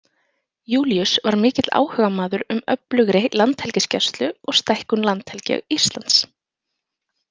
Júlíus var mikill áhugamaður um öflugri landhelgisgæslu og stækkun landhelgi Íslands.